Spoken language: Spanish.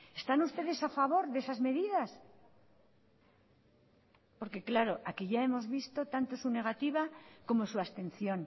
están ustedes a favor de esas medidas porque claro aquí ya hemos visto tanto su negativa como su abstención